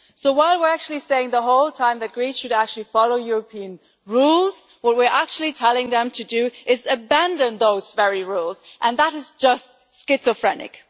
While we are saying the whole time that Greece should follow European rules, what we are actually telling them to do is abandon those very rules and that is just schizophrenic.